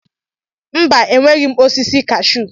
Mba, enweghị m osisi kashuu